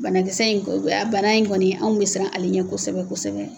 Banakisɛ in bana in kɔni bana in kɔni, anw bɛ siran ale ɲɛ kosɛbɛ kosɛbɛ.